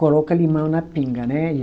Coloca limão na pinga, né?